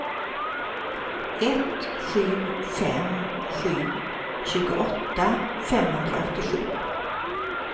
ett sju fem sju tjugoåtta femhundraåttiosju